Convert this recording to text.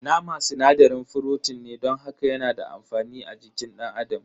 Nama sinadarin frotin ne don haka yana da amfani a jikin dan adam.